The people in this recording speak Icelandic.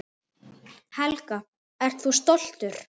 Helga: Ert þú stoltur?